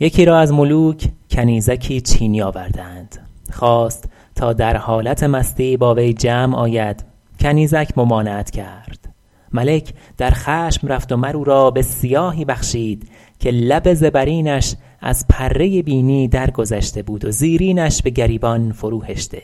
یکی را از ملوک کنیزکی چینی آوردند خواست تا در حالت مستی با وی جمع آید کنیزک ممانعت کرد ملک در خشم رفت و مر او را به سیاهی بخشید که لب زبرینش از پره بینی درگذشته بود و زیرینش به گریبان فرو هشته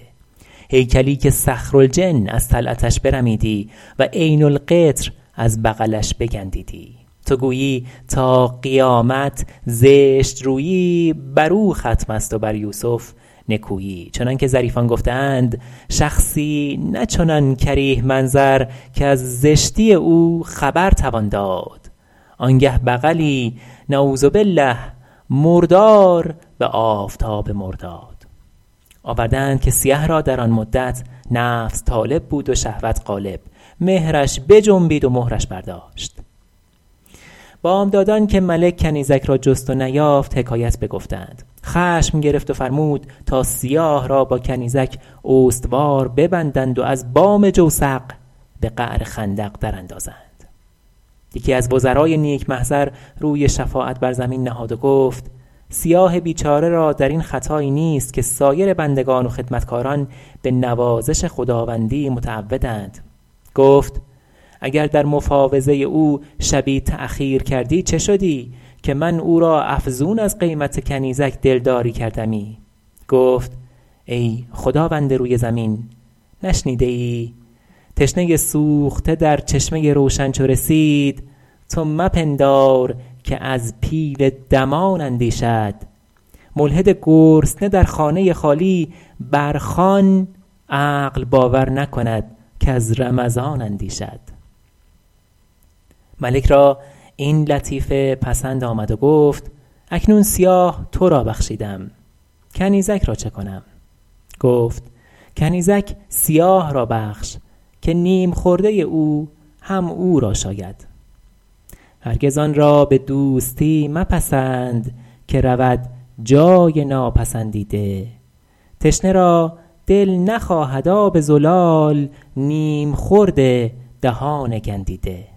هیکلی که صخرالجن از طلعتش برمیدی و عین القطر از بغلش بگندیدی تو گویی تا قیامت زشت رویی بر او ختم است و بر یوسف نکویی چنان که ظریفان گفته اند شخصی نه چنان کریه منظر کز زشتی او خبر توان داد آن گه بغلی نعوذ باللٰه مردار به آفتاب مرداد آورده اند که سیه را در آن مدت نفس طالب بود و شهوت غالب مهرش بجنبید و مهرش برداشت بامدادان که ملک کنیزک را جست و نیافت حکایت بگفتند خشم گرفت و فرمود تا سیاه را با کنیزک استوار ببندند و از بام جوسق به قعر خندق در اندازند یکی از وزرای نیک محضر روی شفاعت بر زمین نهاد و گفت سیاه بیچاره را در این خطایی نیست که سایر بندگان و خدمتکاران به نوازش خداوندی متعودند گفت اگر در مفاوضه او شبی تأخیر کردی چه شدی که من او را افزون از قیمت کنیزک دلداری کردمی گفت ای خداوند روی زمین نشنیده ای تشنه سوخته در چشمه روشن چو رسید تو مپندار که از پیل دمان اندیشد ملحد گرسنه در خانه خالی بر خوان عقل باور نکند کز رمضان اندیشد ملک را این لطیفه پسند آمد و گفت اکنون سیاه تو را بخشیدم کنیزک را چه کنم گفت کنیزک سیاه را بخش که نیم خورده او هم او را شاید هرگز آن را به دوستی مپسند که رود جای ناپسندیده تشنه را دل نخواهد آب زلال نیم خورد دهان گندیده